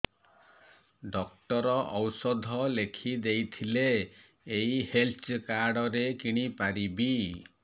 doctor ଔଷଧ ଲେଖିଦେଇଥିଲେ ଏଇ ହେଲ୍ଥ କାର୍ଡ ରେ କିଣିପାରିବି